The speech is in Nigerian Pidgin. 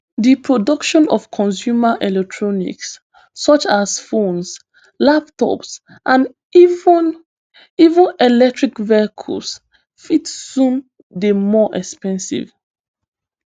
di production of consumer electronics such as phones laptops and even even electric vehicles fit soon dey more expensive